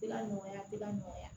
Tɛ ka nɔgɔya a tɛ ka nɔgɔya